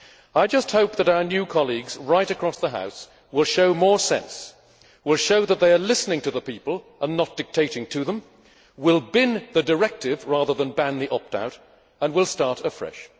I just hope that our new colleagues, right across the House, will show more sense, will show that they are listening to the people and not dictating to them, will bin the directive rather than ban the opt out, and will start afresh.